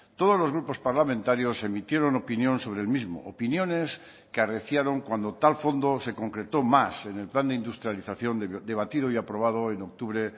todos los grupos parlamentarios emitieron opinión sobre el mismo opiniones que arreciaron cuando tal fondo se concretó más en el plan de industrialización debatido y aprobado en octubre